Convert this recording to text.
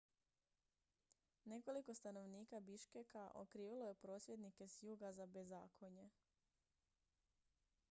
nekoliko stanovnika biškeka okrivilo je prosvjednike s juga za bezakonje